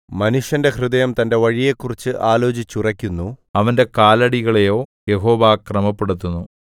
മനുഷ്യന്റെ ഹൃദയം തന്റെ വഴിയെക്കുറിച്ച് ആലോചിച്ചുറയ്ക്കുന്നു അവന്റെ കാലടികളെയോ യഹോവ ക്രമപ്പെടുത്തുന്നു